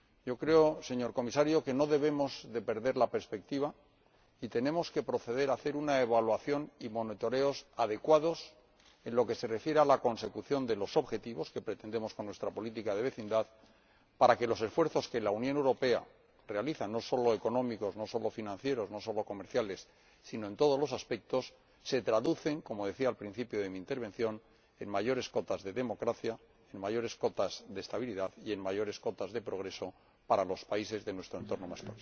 Yo creo, señor Comisario, que no debemos perder la perspectiva y tenemos que proceder a hacer una evaluación y controles adecuados en lo que se refiere a la consecución de los objetivos que pretendemos con nuestra política de vecindad, para que los esfuerzos que la Unión Europea realiza, no solo económicos, no solo financieros, no solo comerciales, sino en todos los aspectos, se traduzcan —como decía al principio de mi intervención— en mayores cotas de democracia, en mayores cotas de estabilidad y en mayores cotas de progreso para los países de nuestro entorno más